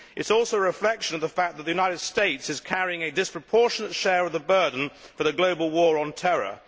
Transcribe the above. It is also a reflection on the fact that the United States is carrying a disproportionate share of the burden for the global war on terror.